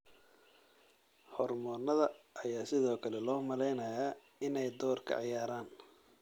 Hormoonnada ayaa sidoo kale loo maleynayaa inay door ka ciyaaraan.